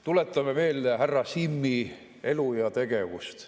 Tuletame meelde härra Simmi elu ja tegevust.